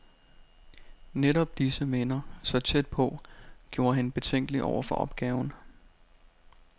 Netop disse minder, så tæt på, gjorde hende betænkelig over for opgaven.